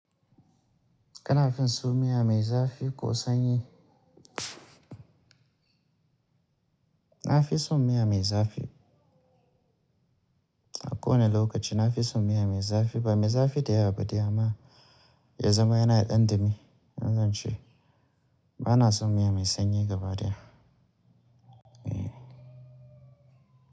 Kana fin so miya mai zafi ko sanyi? Na fi son miya mai zafi. A kowanne lokaci na fi son miya mai zafi. Ba mai zafi da yawa ba, dai amma ya zama yana ɗan ɗumi. Wannan ce, ba na son miya mai sanyi gaba daya. Eh.